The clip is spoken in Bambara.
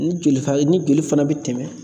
Ni joli ni joli fana bɛ tɛmɛ